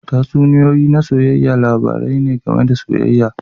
Tatsuniyoyi na soyayya labarai ne game da soyayya.